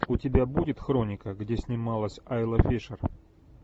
у тебя будет хроника где снималась айла фишер